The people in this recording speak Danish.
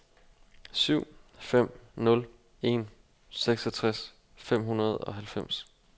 syv fem nul en seksogtres fem hundrede og halvfems